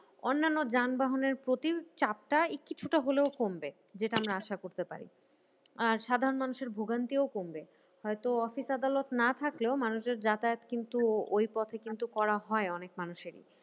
অন্যান্য যানবাহনের প্রতি চাপটা কিছুটা হলেও কমবে যেটা আমরা আসা করতে পারি। সাধারণ মানুষের ভোগান্তিও কমবে। হয়তো অফিস আদালত না থাকলেও মানুষের যাতায়াত কিন্তু ওই পথে কিন্তু করা হয় অনেক মানুষের।